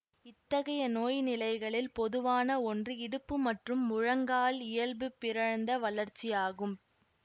இத்தகைய நோய் நிலைகளில் பொதுவான ஒன்று இடுப்பு மற்றும் முழங்கால் இயல்பு பிறழ்ந்த வளர்ச்சியாகும்